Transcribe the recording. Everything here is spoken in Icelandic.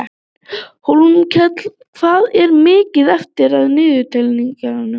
Hólmkell, hvað er mikið eftir af niðurteljaranum?